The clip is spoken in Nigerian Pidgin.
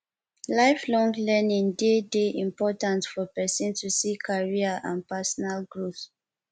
lifelong learning de de important for persin to see career and personal growth